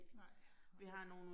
Nej, nej